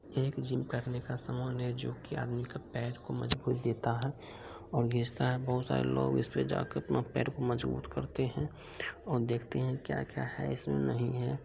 एक जिम करने का सामान है जोकि आदमी का पैर को मजबूत देता है और |बहुत सारे लोग इसपे जाके अपना पैर को मजबूत करते हैं और देखते हैं क्या-क्या है इसमें नहीं है।